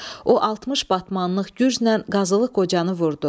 O 60 batmanlıq gürzlə Qazılıq Qocanı vurdu.